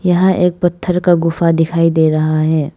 यहां एक पत्थर का गुफा दिखाई दे रहा है।